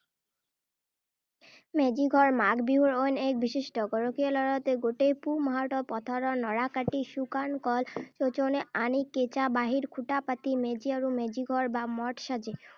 মেজি ঘৰ মাঘ বিহুৰ অইন এক বিশিষ্ট্য। গৰখীয়া ল’ৰাহঁতে গোটেই পুহ মাহটোতে পথাৰৰ নৰা কাটি, শুকান কল চৌচনি আনি, কেঁচা বাঁহৰ খুটা পাতি মেজি আৰু মেজিঘৰ বা মঠ সাজে।